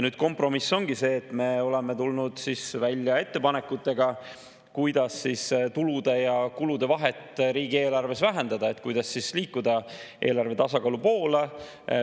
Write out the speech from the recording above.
Kompromiss ongi see, et me oleme tulnud välja ettepanekutega, kuidas tulude ja kulude vahet riigieelarves vähendada, kuidas liikuda eelarve tasakaalu poole.